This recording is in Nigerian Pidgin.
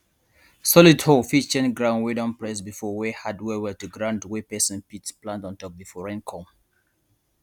solid hoe fit change ground wey don press before wey hard well well to ground wey person fit plant on top before rain come